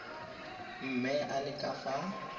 mme a le ka fa